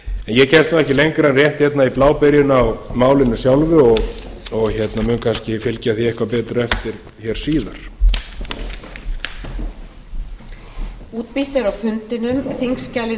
ég kemst nú ekki lengra rétt hérna í blábyrjun á málinu sjálfu og mun kannski fylgja því eitthvað betur eftir hér síðar